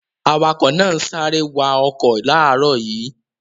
Awakọ̀ náà ń sáré wa ọkọ̀ láàárọ̀ yìí.